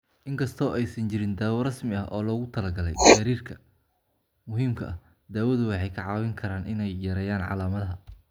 In kasta oo aysan jirin daawo rasmi ah oo loogu talagalay gariirka muhiimka ah, daawadu waxay kaa caawin karaan in ay yareeyaan calaamadaha.